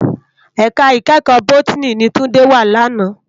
Èká ikèékò Bótìní ni Tunde wá làná